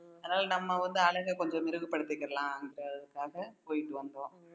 அதனால நம்ம வந்து அழகை கொஞ்சம் மிருகப்படுத்திக்கிறலாம் போயிட்டு வந்தோம்